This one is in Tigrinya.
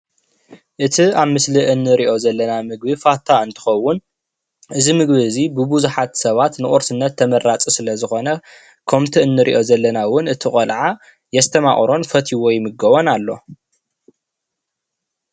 እቲ አብ ምስሊ እንሪኦ ዘለና ምግቢ ፋታ እንትከውን እዚ ምግቢ እዙይ ብቡዙሓት ሰባት ንቁርስነት ተመራፂ ስለ ዝኮነ ከምቲ እንሪኦ ዘለና እውን እቲ ቆልዓ የስተማቅሮን ፈትይዎ ይምገቦን አሎ።